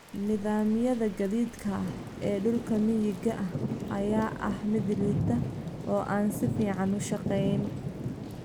Nidaamyada gaadiidka ee dhulka miyiga ah ayaa ah mid liita oo aan si fiican u shaqeyn.